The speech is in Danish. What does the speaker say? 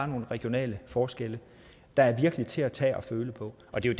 nogle regionale forskelle der virkelig er til at tage og føle på og det er